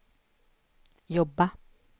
jobba